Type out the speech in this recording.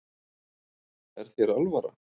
Er þér alvara?